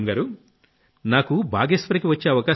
పూనమ్ గారూ నాకు బాగేశ్వర్ కి వచ్చే